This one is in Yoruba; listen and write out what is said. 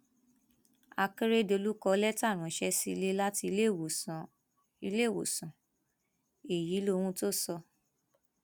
akérédọlù kọ lẹtà ránṣẹ sílẹ láti iléèwòsàn iléèwòsàn èyí lóhun tó sọ